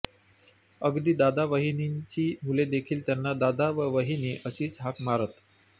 अगदी दादा वहिनीची मुले देखील त्यांना दादा व वहिनी अशीच हाकमारत